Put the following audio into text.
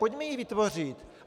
Pojďme ji vytvořit.